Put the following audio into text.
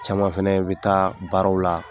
Caman fɛnɛ bi taa baaraw la